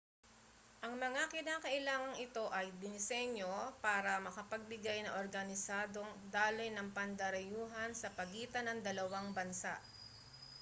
ang mga kinakailangang ito ay dinisenyo para makapagbigay ng organisadong daloy ng pandarayuhan sa pagitan ng dalawang bansa